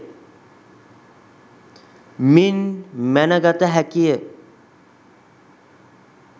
මින් මැනගත හැකිය